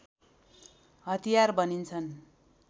हतियार भनिन्छन्